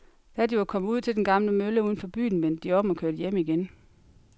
Da de var kommet ud til den gamle mølle uden for byen, vendte de om og kørte hjem igen.